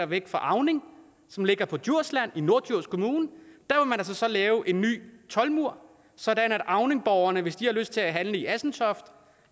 væk fra auning som ligger på djursland i norddjurs kommune lave en ny toldmur sådan at auningborgerne hvis de har lyst til at handle i assentoft